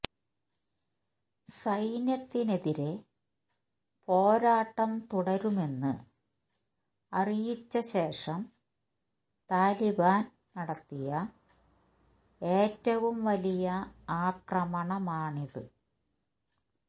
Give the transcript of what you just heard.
സൈന്യത്തിനെതിരെ പോരാട്ടം തുടരുമെന്ന് അറിയിച്ചശേഷം താലിബാന് നടത്തിയ ഏറ്റവും വലിയ ആക്രമണമാണിത്